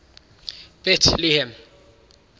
betlehem